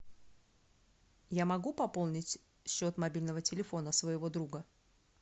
я могу пополнить счет мобильного телефона своего друга